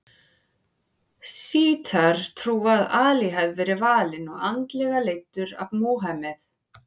Sjítar trúa að Ali hafi verið valinn og andlega leiddur af Múhameð.